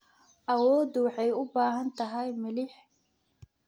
Awoodu waxay u baahan tahay milix.